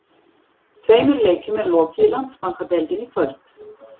Tveimur leikjum er lokið í Landsbankadeildinni í kvöld.